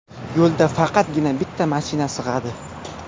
Yo‘lda faqatgina bitta mashina sig‘adi.